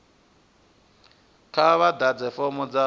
kha vha ḓadze fomo dza